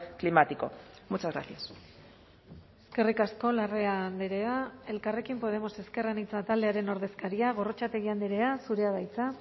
climático muchas gracias eskerrik asko larrea andrea elkarrekin podemos ezker anitza taldearen ordezkaria gorrotxategi andrea zurea da hitza